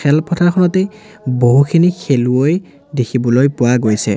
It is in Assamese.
খেলপথাৰখনতেই বহুখিনি খেলোৱৈ দেখিবলৈ পোৱা গৈছে।